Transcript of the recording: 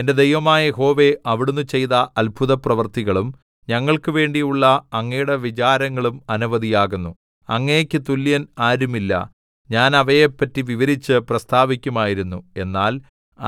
എന്റെ ദൈവമായ യഹോവേ അവിടുന്ന് ചെയ്ത അത്ഭുതപ്രവൃത്തികളും ഞങ്ങൾക്കുവേണ്ടിയുള്ള അങ്ങയുടെ വിചാരങ്ങളും അനവധി ആകുന്നു അങ്ങേക്ക് തുല്യൻ ആരുമില്ല ഞാൻ അവയെപ്പറ്റി വിവരിച്ച് പ്രസ്താവിക്കുമായിരുന്നു എന്നാൽ